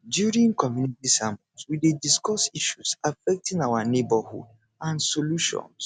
during community sermons we dey discuss issues affecting our neighborhood and solutions